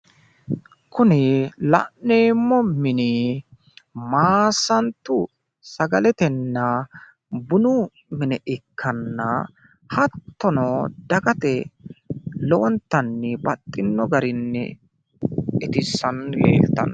kuni la'neemmo mini maassantu sagaletenna bunu mine ikkanna hattono, dagate lowontanni baxxino garinni itissanni leeltanno.